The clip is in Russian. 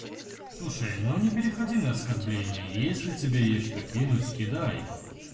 слушай но не переходи на оскорбление если тебе есть что кинуть кидай